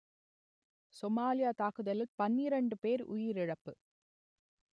Somalia தாக்குதலில் பன்னிரண்டு பேர் உயிரிழப்பு